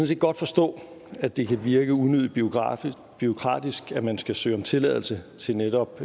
set godt forstå at det kan virke unødig bureaukratisk bureaukratisk at man skal søge om tilladelse til netop